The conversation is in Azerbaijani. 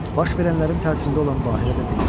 Baş verənlərin təsirində olan Bahirə də dilləndi.